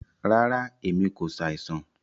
Ràrá, ẹ̀mi kò ṣàìsàn.